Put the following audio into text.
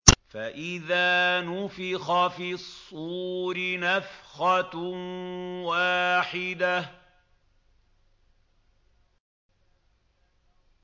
فَإِذَا نُفِخَ فِي الصُّورِ نَفْخَةٌ وَاحِدَةٌ